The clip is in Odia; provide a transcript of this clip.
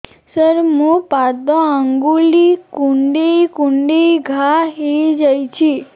ସାର ମୋ ପାଦ ଆଙ୍ଗୁଳି କୁଣ୍ଡେଇ କୁଣ୍ଡେଇ ଘା ହେଇଯାଇଛି